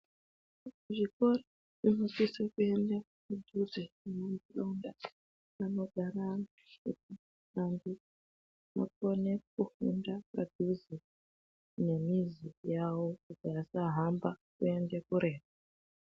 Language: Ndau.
Zvikora zvinosise kuende mudhuze ngemunogara antu kuti vantu vakone kufunda padhuze nemizi yawo kuitira kuti vasahamba kuende kure.